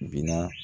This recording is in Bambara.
Binna